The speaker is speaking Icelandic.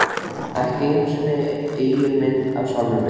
Ekki einu sinni eigin mynd af sjálfum mér.